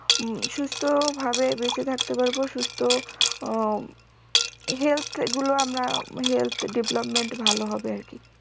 উম সুস্থ ভাব বেঁচে থাকতে পারবো সুস্থ আহ health গুলো আমরা health development ভালো হবে আর কি